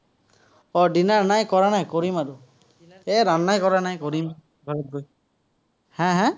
উম dinner নাই, কৰা নাই, কৰিম আৰু। এ কৰা নাই, কৰিম, ঘৰত গৈ। হা হা?